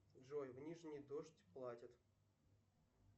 джой в нижний дождь платят